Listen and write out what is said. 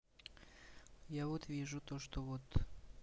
я вот вижу то что вот